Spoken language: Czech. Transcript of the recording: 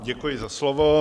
Děkuji za slovo.